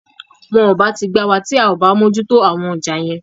Wọn ò bá ti gbá wa, tí a ò bá mójú tó àwọn ọjà yẹn.